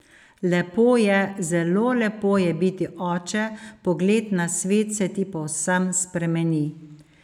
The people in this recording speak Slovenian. Lepo je, zelo lepo je biti oče, pogled na svet se ti povsem spremeni.